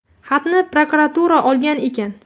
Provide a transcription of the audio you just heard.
Xatni prokuratura olgan ekan.